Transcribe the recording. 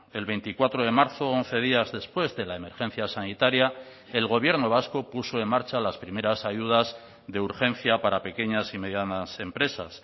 el veinticuatro de marzo once días después de la emergencia sanitaria el gobierno vasco puso en marcha las primeras ayudas de urgencia para pequeñas y medianas empresas